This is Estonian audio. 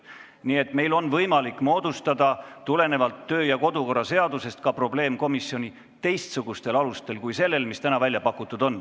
Nii et tulenevalt kodu- ja töökorra seadusest on meil võimalik moodustada probleemkomisjoni ka teistsugusel alusel kui see, mis täna välja pakutud on.